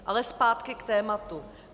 Ale zpátky k tématu.